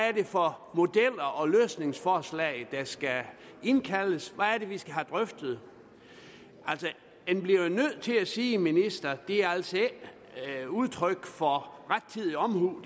er det for modeller og løsningsforslag der skal indkaldes hvad er det vi skal have drøftet altså jeg bliver nødt til at sige til ministeren at det her altså ikke er udtryk for rettidig omhu